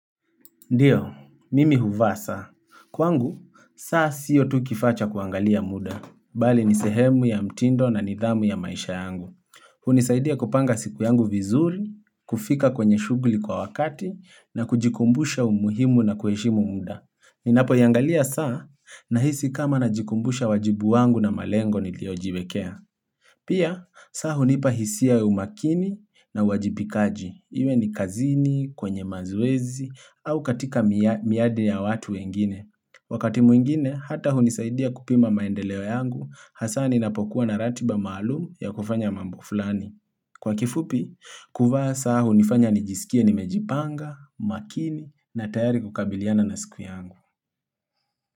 Ndiyo, mimi huvaa saa. Kwangu, saa sio tu kifaa cha kuangalia muda, bali ni sehemu ya mtindo na nidhamu ya maisha yangu. Hunisaidia kupanga siku yangu vizuri, kufika kwenye shughuli kwa wakati, na kujikumbusha umuhimu na kueshimu muda. Ninapoiangalia saa, nahisi kama najikumbusha wajibu wangu na malengo niliojiwekea. Pia, saa hunipa hisia ya umakini na uwajibikaji. Iwe ni kazini, kwenye mazoezi, au katika mia miade ya watu wengine. Wakati mwingine, hata hunisaidia kupima maendeleo yangu, hasa ninapokuwa na ratiba maalum ya kufanya mambo fulani. Kwa kifupi, kuvaa saa hunifanya nijisikie nimejipanga, umakini na tayari kukabiliana na siku yangu.